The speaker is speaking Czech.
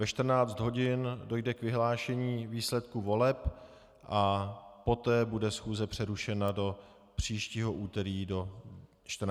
Ve 14 hodin dojde k vyhlášení výsledků voleb a poté bude schůze přerušena do příštího úterý do 14 hodin.